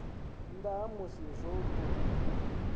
nnda ha musi zwo tou